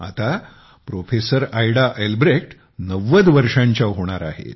आता professor Ada Albrecht नव्वद वर्षांच्या होणार आहेत